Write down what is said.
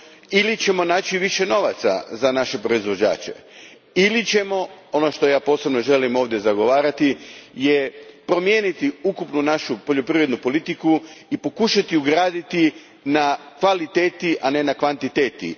Ili ćemo naći više novaca za naše proizvođače ili ćemo, ono što ja posebno ovdje želim zagovarati, promijeniti ukupnu našu poljoprivrednu politiku i pokušati raditi na kvaliteti, a ne na kvantiteti.